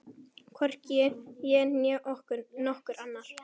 Hvorki ég né nokkur annar.